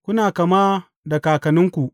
Kuna kama da kakanninku.